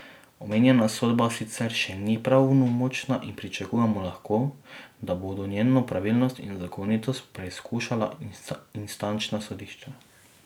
Omenjena sodba sicer še ni pravnomočna in pričakujemo lahko, da bodo njeno pravilnost in zakonitost preizkušala instančna sodišča.